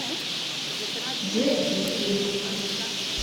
детские фильмы